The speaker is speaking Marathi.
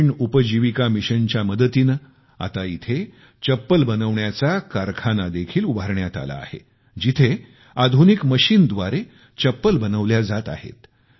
ग्रामीण उपजीविका मिशनच्या मदतीने आता येथे एक चप्पल बनवण्याचा कारखाना देखील उभारण्यात आला आहे जिथे आधुनिक मशीनद्वारे चप्पल बनवल्या जात आहेत